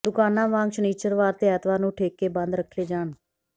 ਦੁਕਾਨਾਂ ਵਾਂਗ ਸ਼ਨਿਚਰਵਾਰ ਤੇ ਐਤਵਾਰ ਨੂੰ ਠੇਕੇ ਬੰਦ ਰੱਖੇ ਜਾਣ